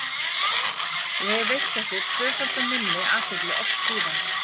Ég hef veitt þessu tvöfalda minni athygli oft síðan.